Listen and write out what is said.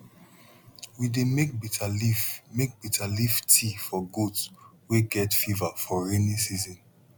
we dey make bitter leaf make bitter leaf tea for goat wey get fever for rainy season